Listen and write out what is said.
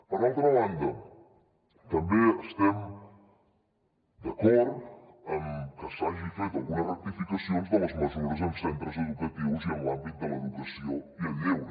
per altra banda també estem d’acord en que s’hagin fet algunes rectificacions de les mesures en centres educatius i en l’àmbit de l’educació i el lleure